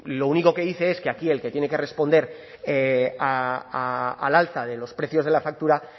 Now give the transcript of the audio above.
lo único que dice es que aquí el que tiene que responder al alza de los precios de la factura